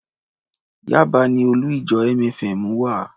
Yaba ni olú-ìjọ MFM wà.